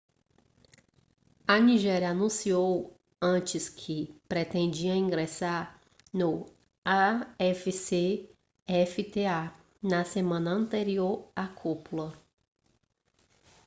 a nigéria anunciou antes que pretendia ingressar no afcfta na semana anterior à cúpula